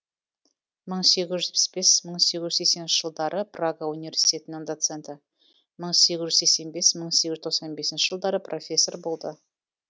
мың сегіз жүз жетпіс бес мың сегіз жүз сексенінші жылдары прага уиверситетінің доценті мың сегіз жүз сексен бес мың сегіз жүз тоқсан бесінші жылдары профессор болды